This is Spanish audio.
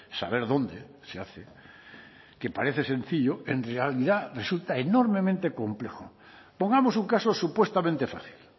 saber dónde se hace que parece sencillo en realidad resulta enormemente complejo pongamos un caso supuestamente fácil